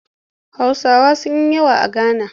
Hausawa sun yi yawa a Gana